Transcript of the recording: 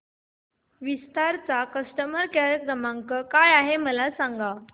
विस्तार चा customer care क्रमांक काय आहे मला सांगा